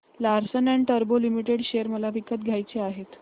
Larsen and टुर्बो limited share मला विकत घ्यायचे आहेत